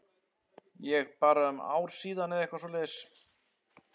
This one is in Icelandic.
Ég bara um ár síðan eða eitthvað svoleiðis?